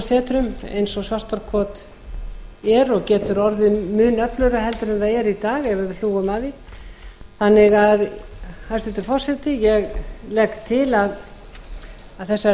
menningarsetrum og rannsóknarsetrum eins og svartárkot er og getur orðið mun öflugra heldur en það er í dag ef við hlúum að því hæstvirtur forseti ég legg til að þessari þingsályktunartillögu